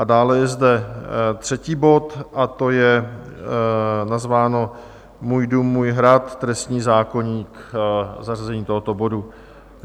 A dále je zde třetí bod a to je nazváno Můj dům, můj hrad - trestní zákoník - zařazení tohoto bodu.